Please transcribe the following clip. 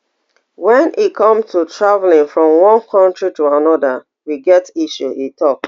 wen e come to traveling from one kontri to anoda we get issue e tok